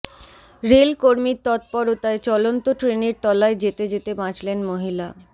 rail কর্মীর তৎপরতায় চলন্ত ট্রেনের তলায় যেতে যেতে বাঁচলেন মহিলা